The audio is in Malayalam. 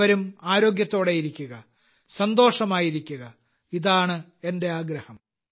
ഏവരും ആരോഗ്യത്തോടെയിരിക്കുക സന്തോഷമായിരിക്കുക ഇതാണ് എന്റെ ആഗ്രഹം